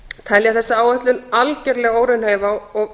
telja þessa áætlun algerlega óraunhæf og